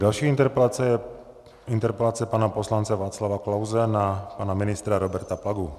Další interpelace je interpelace pana poslance Václava Klause na pana ministra Roberta Plagu.